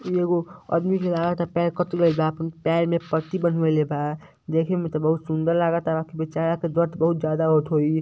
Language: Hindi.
एगो आदमी के लागता पैर कट गईल बा आपन पैर में पट्टी बंधवैले बा देखे में बहुत सुन्दर लागताबेचारा के दर्द बहुत ज्यादा होत होइ।